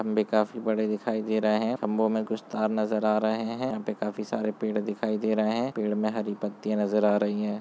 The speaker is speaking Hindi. खम्बे काफी बड़े दिखाई दे रहे है खम्बो में कुछ तार नजर आ रहे हैं यहाँ पर काफी सारे पेड़ दिखाई दे रहे हैं पेड़ में हरी पतियाँ नजर आ रही हैं।